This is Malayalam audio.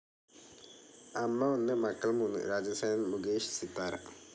അമ്മ ഒന്ന്, മക്കൾ മൂന്ന് രാജസേനനൻ മുകേഷ്, സിതാര